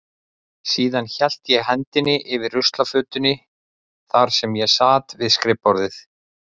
Síðan hélt ég hendinni yfir ruslafötunni þar sem ég sat við skrifborðið.